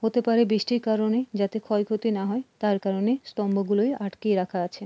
হতে পারে বৃষ্টির কারণে যাতে ক্ষয়ক্ষতি না হয় তার কারণে স্তম্ভ গুলোয় আটকিয়ে রাখা আছে।